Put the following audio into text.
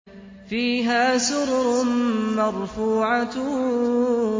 فِيهَا سُرُرٌ مَّرْفُوعَةٌ